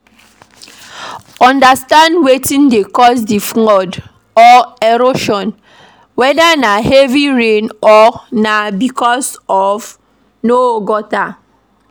Understand wetin dey cause di flood or erosion weda na heavy rain or na because no gutter